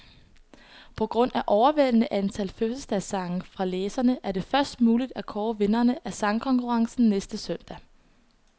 På grund af overvældende antal fødselsdagssange fra læserne, er det først muligt at kåre vinderne af sangkonkurrencen næste søndag.